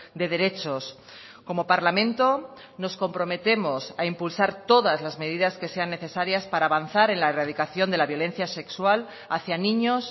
de derechos como parlamento nos comprometemos a impulsar todas las medidas que sean necesarias para avanzar en la erradicación de la violencia sexual hacia niños